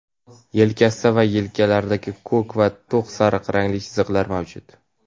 yelkasida va yenglarida ko‘k va to‘q sariq rangli chiziqlar mavjud.